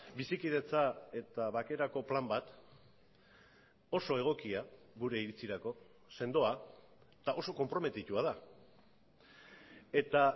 bizikidetza eta bakerako plan bat oso egokia gure iritzirako sendoa eta oso konprometitua da eta